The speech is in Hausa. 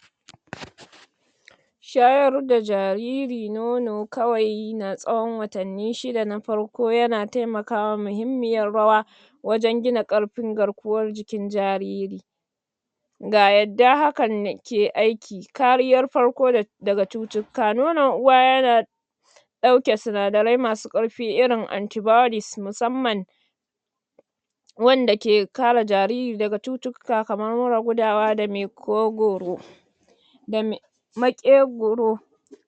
? Shayar da jariri nono, kawai na tsawon watani shida na farko, ya na taimakawa mahimmiyar raya,? wajan gina karfin garkuwar jikin jariri.? Ga yadda hakan ke aiki. Kariyar farko daga cutukka. Nono uwa ya na,? ɗauke sinadarai ma su karfi irin su anti-bodies, musamman,? wanda ke kare jariri daga cuttuka kamar murar gudawa da maƙogoro,???